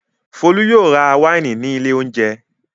Folú yóò ra wáìnì ní ilé-oúnjẹ.